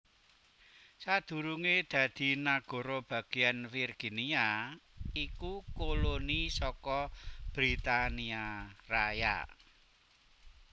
Sadurungé dadi nagara bagéyan Virginia iku koloni saka Britania Raya